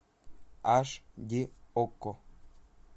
аш ди окко